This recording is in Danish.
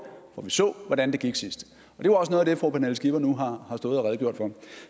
for vi så hvordan det gik sidst det var også noget af det fru pernille skipper nu har stået og redegjort for